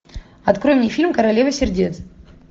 открой мне фильм королева сердец